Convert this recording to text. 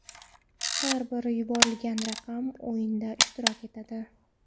Har bir yuborilgan raqam o‘yinda ishtirok etadi.